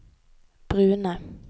brune